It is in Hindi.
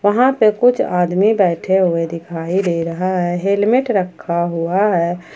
वहां पे कुछ आदमी बैठे हुए दिखाई दे रहा है हेलमेट रक्खा हुआ है।